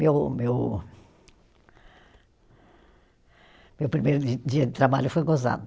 Meu meu, meu primeiro di dia de trabalho foi gozado.